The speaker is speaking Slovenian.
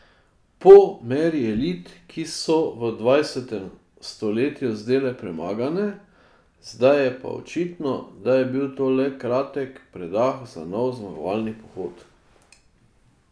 Po meri elit, ki so se v dvajsetem stoletju zdele premagane, zdaj je pa očitno, da je bil to le kratek predah za nov zmagovalni pohod.